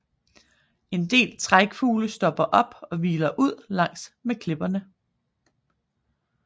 En del trækfugle stopper op og hviler ud langs med klipperne